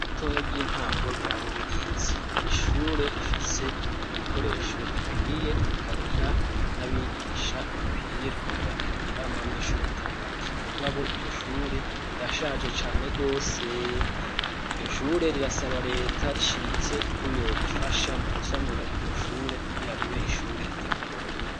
Ritoya ry'intango rya Rubirizi, ni ishure rifise ibikoresho bikwiye, rikagira n'abigisha bakwiye, rikongera rikagira n'abanyeshure batari bake; mugabo iryo shure rirashaje cane rwose; iryo shure rirasaba leta rishimitse ko yorifasha mu gusanura iryo shure kugira ribe ishure ry'akarorero.